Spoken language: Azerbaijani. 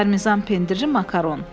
Parmizan pendiri makaron.